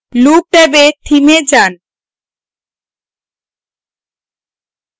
look ট্যাবে theme এ যান